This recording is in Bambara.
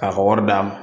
K'a ka wari d'a ma